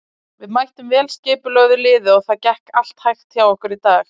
Við mættum vel skipulögðu liði og það gekk allt hægt hjá okkur í dag.